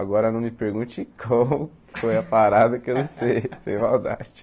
Agora não me pergunte como, foi a parada que eu não sei, sem maldade.